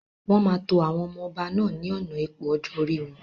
Wọn máa tó àwọn ọmọ ọba náà ni ọ̀nà ipò ọjọ́ orí wọn.